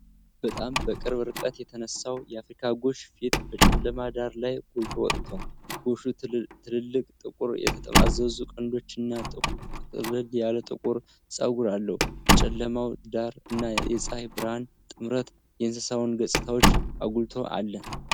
በጣም በቅርብ ርቀት የተነሳው የአፍሪካ ጎሽ ፊት በጨለማ ዳራ ላይ ጎልቶ ወጥቷል። ጎሹ ትልልቅ፣ ጥቁር፣ የተጠማዘዙ ቀንዶች እና ጥቅጥቅ ያለ ጥቁር ፀጉር አለው። የጨለማው ዳራ እና የፀሐይ ብርሃን ጥምረት የእንስሳውን ገፅታዎች አጉልቶ አለ።